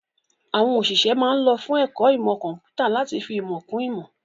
Àwọn òṣìṣẹ́ ma ń lọ fún ẹ̀kọ́ ìmọ̀ kọ̀ḿpútà láti fi ìmọ̀ kún ìmọ̀